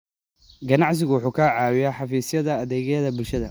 Aqoonsigu waxa uu ka caawiyaa xafiisyadda adeegyada bulshada.